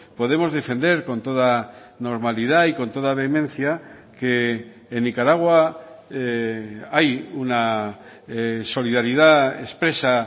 podemos defender con toda normalidad y con toda vehemencia que en nicaragua hay una solidaridad expresa